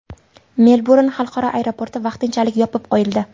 Melburn xalqaro aeroporti vaqtinchalik yopib qo‘yildi.